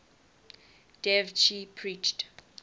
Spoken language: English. dev ji preached